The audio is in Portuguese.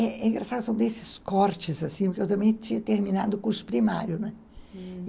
É é engraçado, são desses cortes, assim, porque eu também tinha terminado o curso primário, né?